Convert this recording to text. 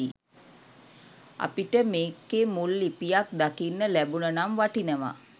අපිට මෙකෙ මුල් ලිපියත් දකින්න ලැබුන නම් වටිනවා.